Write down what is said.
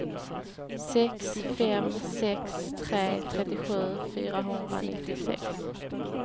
sex fem sex tre trettiosju fyrahundranittiosex